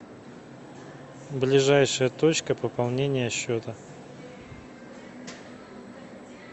ближайшая точка пополнения счета